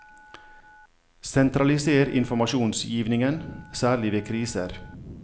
Sentraliser informasjonsgivningen, særlig ved kriser.